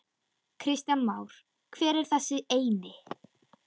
Kristján Már: Hver er þessi eini?